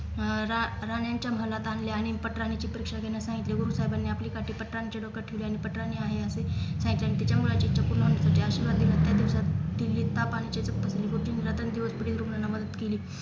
अं रा रानांच्या महालात आणले आणि पटराणींची परीक्षा घेण्यास सांगितले गुरुसाहेबांनी आपली काठी पात्रांच्या डोक्यावर ठेवली आणि पटराणी आहे असे सांगितले आणि त्याच्यामुळे अजितच्या पूर्ण यांना मदत केली